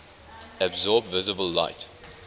absorb visible light